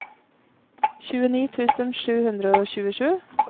tjueni tusen sju hundre og tjuesju